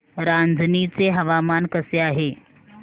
रांझणी चे हवामान कसे आहे